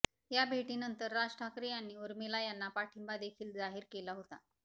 या भेटीनंतर राज ठाकरे यांनी उर्मिला यांना पाठिंबादेखील जाहीर केला होता